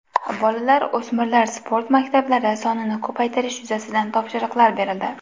Bolalar-o‘smirlar sport maktablari sonini ko‘paytirish yuzasidan topshiriqlar berildi.